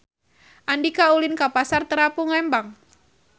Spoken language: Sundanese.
Andika ulin ka Pasar Terapung Lembang